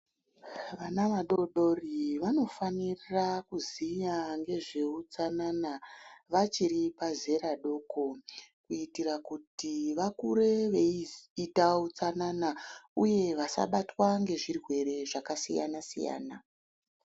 Vana vadodori vanofanira kuziya ngezveutsanana vachiri pazera doko kuitira kuti vakure veiziye utsanana uye vasabatwa ngezvirwere zvakasiyana siyana .